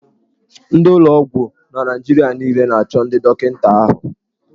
Ndị ụlọ ọgwụ na Naịjirịa niile na-achọ ndị dọkịta ahụ.